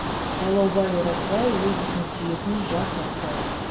сайлаубай оразбай өз ісін сүйетін жас аспаз